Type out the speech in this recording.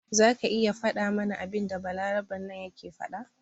Zaka iya fada mana abinda balaraben nan yake faɗa?